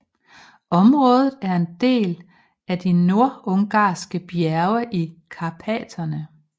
Området er en del af de nordungarske bjerge i Karpaterne